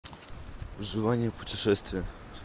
желание путешествия